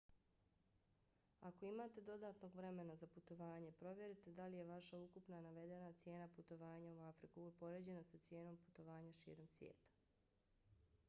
ako imate dodatnog vremena za putovanje provjerite da li je vaša ukupna navedena cijena putovanja u afriku upoređena sa cijenom putovanja širom sveta